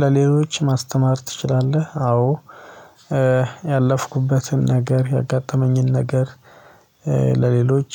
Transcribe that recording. ለሌሎች ማስተማር ትችላለህ? አዎ ያለፍኩበትን ነገር ያጋጠመኝን ነገር ለሌሎች